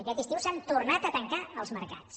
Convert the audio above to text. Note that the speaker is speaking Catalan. aquest estiu s’han tornat a tancar els mercats